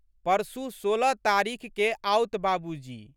परसू, सोलह तारीखके आओत बाबूजी!